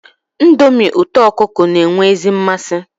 Ndomi uto okuko n'enwe ezi nmasi